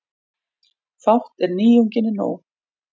Fátt er nýjunginni nóg.